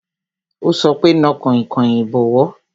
Ó sọ pé "Na kainkain ìbọwọ́"